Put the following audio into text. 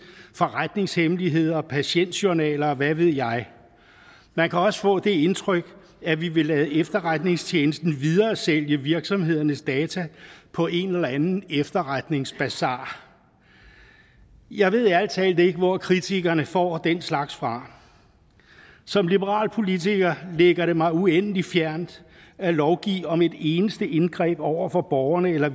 forretningshemmeligheder og patientjournaler og hvad ved jeg man kan også få det indtryk at vi vil lade efterretningstjenesten videresælge virksomhedernes data på en eller anden efterretningsbasar jeg ved ærlig talt ikke hvor kritikerne får den slags fra som liberal politiker ligger det mig uendelig fjernt at lovgive om et eneste indgreb over for borgerne eller